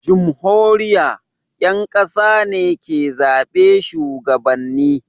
jumhuriya, ƴan ƙasa ne ke zaɓe shugabanni